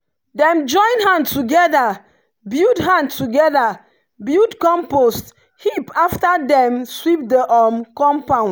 dem join hand together build hand together build compost heap after dem sweep the um compound.